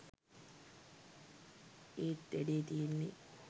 ඒත් වැඩේ තියෙන්නෙ